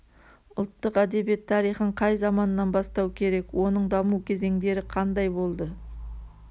ұлттық әдебиет тарихын қай заманнан бастау керек оның даму кезеңдері қандай болды